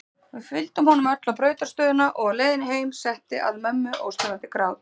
Við fylgdum honum öll á brautarstöðina og á leiðinni heim setti að mömmu óstöðvandi grát.